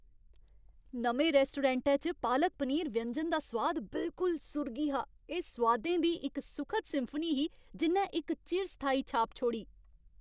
नमें रैस्टोरैंटै च पालक पनीर व्यंजन दा सोआद बिलकुल सुर्गी हा, एह् सोआदें दी इक सुखद सिम्फनी ही जि'न्नै इक चिरस्थायी छाप छोड़ी।